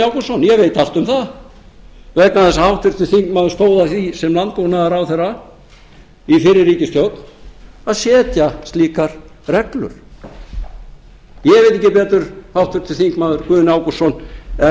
ágústsson ég veit allt um það vegna þess að háttvirtur þingmaður stóð að því sem landbúnaðarráðherra í fyrri ríkisstjórn að setja slíkar reglur ég veit ekki betur háttvirtur þingmaður guðni ágústsson en